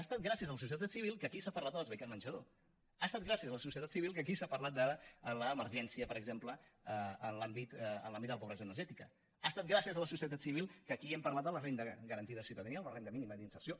ha estat gràcies a la societat civil que aquí s’ha parlat de les beques menjador ha estat gràcies a la societat civil que aquí s’ha parlat de l’emergència per exemple en l’àmbit de la pobresa energètica ha estat gràcies a la societat civil que aquí hem parlat de la renda garantida de ciutadania o la renda mínima d’inserció